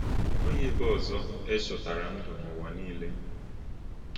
E nweghị ebe ọzọ e chọtara ndụ n’ụwa niile.